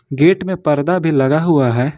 Gate में पर्दा भी लगा हुआ है।